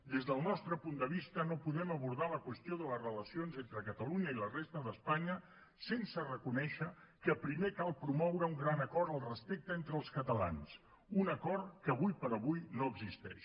des del nostre punt de vista no podem abordar la qüestió de les relacions entre catalunya i la resta d’espanya sense reconèixer que primer cal promoure un gran acord al respecte entre els catalans un acord que ara per ara no existeix